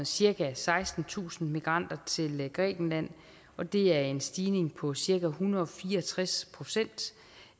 cirka sekstentusind migranter til grækenland og det er en stigning på cirka en hundrede og fire og tres procent